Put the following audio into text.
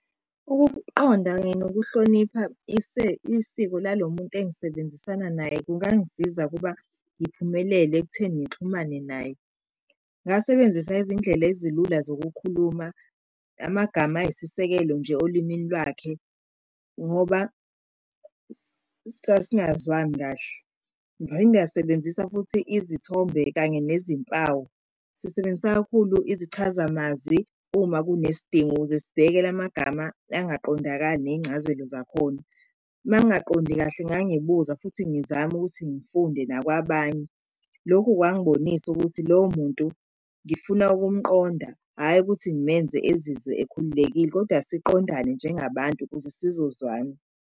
Ukuqonda kanye nokuhlonipha isiko lalo muntu engisebenzisana naye kungangisiza ukuba ngiphumelele ekutheni ngixhumane naye. Ngasebenzisa izindlela ezilula zokukhuluma amagama ayisisekelo nje olimini lwakhe, ngoba sasingazwani kahle. Ngiphinde ngasebenzisa futhi izithombe kanye nezimpawu sisebenzisa kakhulu isichazamazwi uma kunesidingo, ukuze sibheke la magama angaqondakali nezincazelo zakhona. Uma ngingaqondi kahle ngangibuza futhi ngizame ukuthi ngifunde nakwabanye. Lokhu kwangibonisa ukuthi lowo muntu ngifuna ukumqonda, hhayi ukuthi ngimenze ezizwe ekhululekile kodwa siqondane njengabantu ukuze sizozwana.